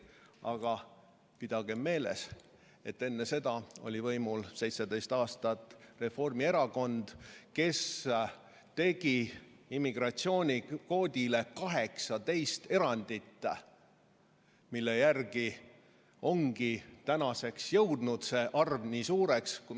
Aga pidagem meeles, et enne seda oli 17 aastat võimul Reformierakond, kes tegi immigratsioonikvoodile 18 erandit, mille tõttu ongi tänaseks see arv nii suureks kasvanud.